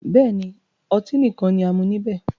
Bẹ́ẹ̀ni, ọtí nìkan ni a mú níbẹ̀